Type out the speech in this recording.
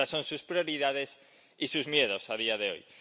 Estas son sus prioridades y sus miedos, a día de hoy.